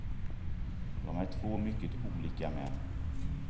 De är två mycket olika män.